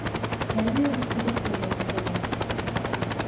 найди русский бестселлер на тв